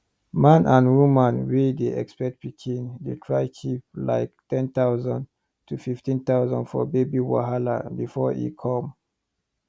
man and woman wey dey expect pikin dey try keep like 10000 to 15000 for baby wahala before e come